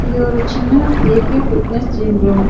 இது ஒரு சின்ன ஏ_கே ஃபிட்னஸ் ஜிம் ரூம் .